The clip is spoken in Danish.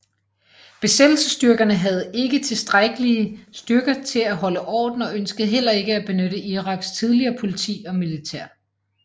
Besættelsesstyrkerne havde ikke tilstrækkelige styrker til at holde orden og ønskede heller ikke at benytte Iraks tidligere politi og militær